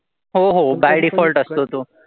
हो हो by default असतो तो.